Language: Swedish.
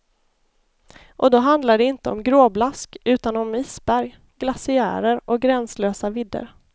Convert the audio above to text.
Och då handlar det inte om gråblask utan om isberg, glaciärer och gränslösa vidder.